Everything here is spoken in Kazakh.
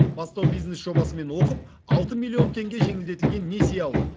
бастау бизнес жобасымен оқып алты миллион теңге жеңілдетілген несие алды